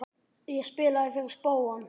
Ég spilaði fyrir spóann.